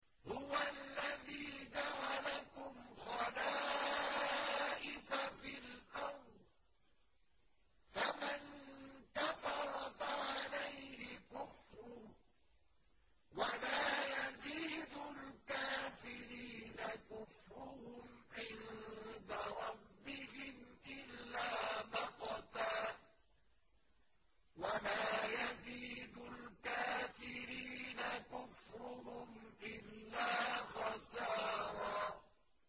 هُوَ الَّذِي جَعَلَكُمْ خَلَائِفَ فِي الْأَرْضِ ۚ فَمَن كَفَرَ فَعَلَيْهِ كُفْرُهُ ۖ وَلَا يَزِيدُ الْكَافِرِينَ كُفْرُهُمْ عِندَ رَبِّهِمْ إِلَّا مَقْتًا ۖ وَلَا يَزِيدُ الْكَافِرِينَ كُفْرُهُمْ إِلَّا خَسَارًا